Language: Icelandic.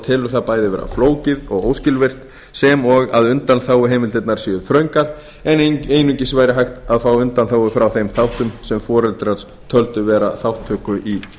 telur það bæði vera flókið og óskilvirkt sem og að undanþáguheimildirnar séu þröngar en einungis var hægt að fá undanþágu frá þeim þáttum sem foreldrar töldu vera þátttöku í